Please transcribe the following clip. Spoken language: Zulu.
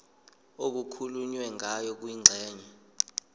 okukhulunywe ngayo kwingxenye